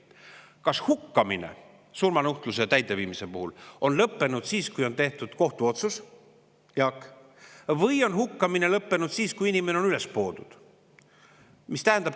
Kas hukkamine surmanuhtluse täideviimisel on lõppenud siis, kui on tehtud kohtuotsus, Jaak, või on hukkamine lõppenud siis, kui inimene on üles poodud?